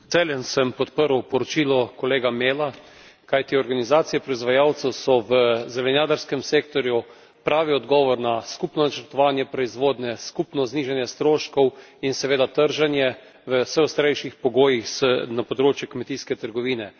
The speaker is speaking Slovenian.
sem podprl poročilo kolega Mela, kajti organizacije proizvajalcev so v zelenjadarskem sektorju pravi odgovor na skupno načrtovanje proizvodnje, skupno znižanje stroškov in seveda trženje v vse ostrejših pogojih na področju kmetijske trgovine.